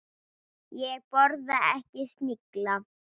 Ég borða ekki snigla.